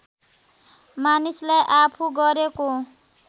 मानिसलाई आफू गरेको